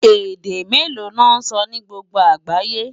Èdè méló lò nsò ni gbógbó ágáyé?